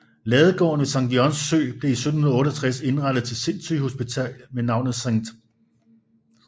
Ladegården ved Sankt Jørgens Sø blev i 1768 indrettet til sindssygehospital med navnet Sct